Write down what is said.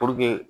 Puruke